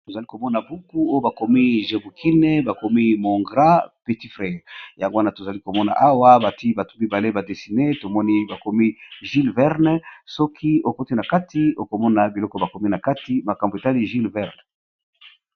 Tozali komona buku oyo bakomi jébukine. Bakomi mon grand petit frère yango wana tozali komona awa bati batu mibale ba desine ,tomoni bakomi jilles werne soki okoti na kati okomona biloko bakomi na kati makambo etali jilles werne.